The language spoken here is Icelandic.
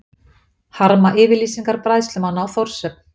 Harma yfirlýsingar bræðslumanna á Þórshöfn